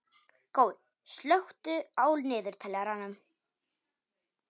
Gói, slökktu á niðurteljaranum.